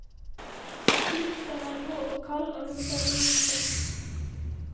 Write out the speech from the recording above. Luften er rå og kald og lukter drivstoff.